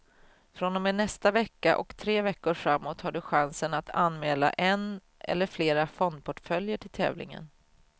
Från och med nästa vecka och tre veckor framåt har du chansen att anmäla en eller flera fondportföljer till tävlingen.